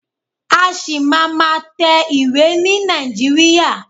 A ṣì máa má tẹ ìwé ni Nàìjíríà.